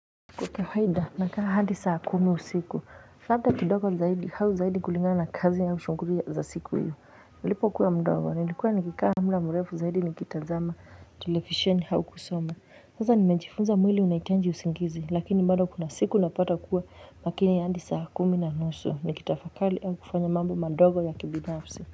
Kwa kawahida na kaa hadi saa kumi usiku. Labda kidogo zaidi, au zaidi kulingana na kazi au shunguli za siku iyo. Nilipo kuwa mdogo, nilikuwa nikikaa mda murefu zaidi nikitazama. Television au kusoma. Sasa nimejifunza mwili unahitaji usingizi. Lakini bado kuna siku napata kuwa makini hadi saa kumi na nusu. Nikitafakali au kufanya mambo mandogo ya kibinafsi.